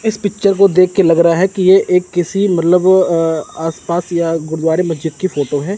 इस पिक्चर को देख के लग रहा है कि ये एक किसी मतलब आसपास या गुरुद्वारे मस्जिद की फोटो है।